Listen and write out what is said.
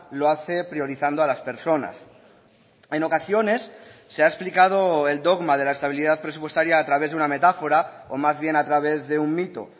lo hace priorizando a las personas en ocasiones se ha explicado el dogma de la estabilidad presupuestaria a través de una metáfora o más bien a través de un mito